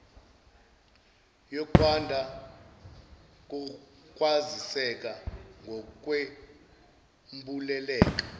yokwanda kokwaziseka ngokwembuleleka